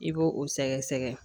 I b'o o sɛgɛsɛgɛ